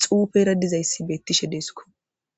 xuufeera dizayssi beettishe deesko.